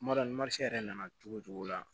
Kuma dɔ yɛrɛ nana cogo cogo la